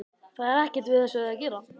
Það er ekkert við þessu að gera.